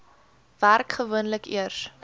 werk gewoonlik eers